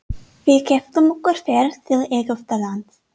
Við keyptum okkur ferð til Egyptalands.